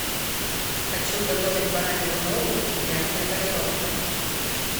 хочу готовить баранью ногу в мятной панировке